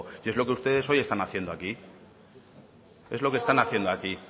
y es lo que ustedes hoy están haciendo aquí es lo que están haciendo aquí